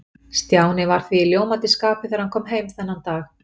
Stjáni var því í ljómandi skapi þegar hann kom heim þennan dag.